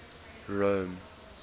rome